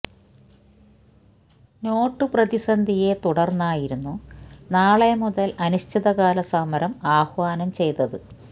not പ്രതിസന്ധിയെ തുടർന്നായിരുന്നു നാളെ മുതൽ അനിശ്ചിതകാല സമരം ആഹ്വാന ചെയ്തത്